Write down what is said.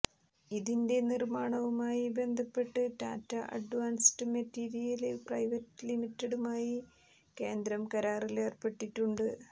ഇതിന്റെ നിര്മ്മാണവുമായി ബന്ധപ്പെട്ട് ടാറ്റ അഡ്വാന്സ്ഡ് മെറ്റീരിയല് പ്രൈവറ്റ് ലിമിറ്റഡുമായി കേന്ദ്രം കരാറില് ഏര്പ്പെട്ടിട്ടുണ്ട്്